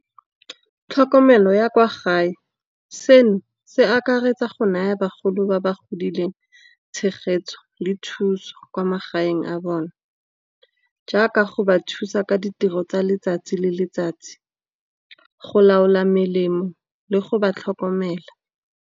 Tlhokomelo ya kwa gae, seno se akaretsa go naya bagolo ba ba godileng tshegetso, le thuso kwa magaeng a bone. Jaaka go ba thusa ka ditiro tsa letsatsi le letsatsi, go laola melemo le go ba tlhokomela.